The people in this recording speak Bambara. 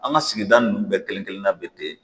An ka sigida nun bɛɛ kelen kelen kelenna bɛ ten